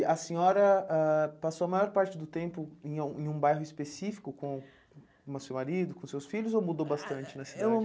E a senhora ah passou a maior parte do tempo em a em um bairro específico com o seu marido, com os seus filhos, ou mudou bastante na cidade? Ah, eu